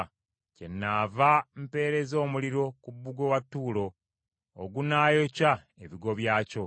kyenaava mpeereza omuliro ku bbugwe wa Ttuulo, ogunaayokya ebigo byakyo.”